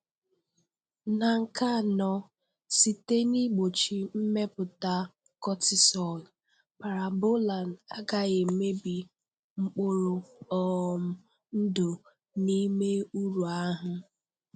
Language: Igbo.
Na nke anọ, site n'igbochi mmepụta cortisol, Parabolan agaghị emebi mkpụrụ um ndụ n'ime uru ahụ.